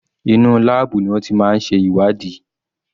Inú láàbù ni wọ́n ti máa ń ṣe ìwádìí.